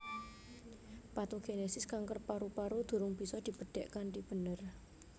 Patogenesis kanker paru paru durung bisa dibedhek kanthi bener